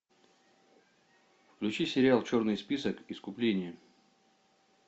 включи сериал черный список искупление